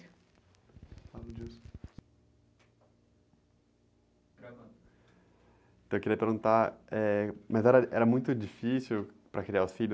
ravando.ntão, eu queria perguntar, eh, mas era, era muito difícil para criar os filhos?